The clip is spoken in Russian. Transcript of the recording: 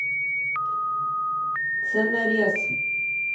ценорез